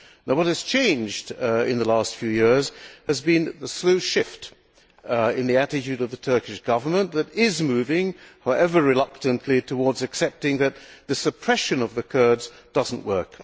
What has changed in the last few years is the slow shift in the attitude of the Turkish Government which is moving, however reluctantly, towards accepting that the suppression of the Kurds does not work.